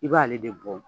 I b'ale de bɔ